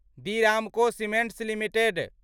Di Ramco cements limited